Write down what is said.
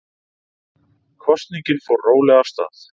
Kosningin fór rólega af stað